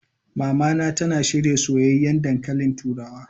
Mamana tana shirya soyayyen dankalin turawa.